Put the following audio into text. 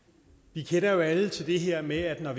vi kender jo alle til det her med at når